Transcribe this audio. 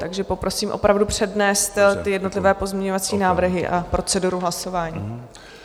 Takže poprosím opravdu přednést ty jednotlivé pozměňovací návrhy a proceduru hlasování.